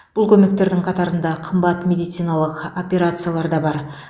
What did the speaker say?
бұл көмектердің қатарында қымбат медициналық операциялар да бар